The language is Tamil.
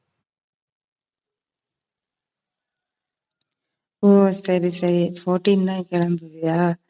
ஓ சரி, சரி fourteen தான் கிளம்பியா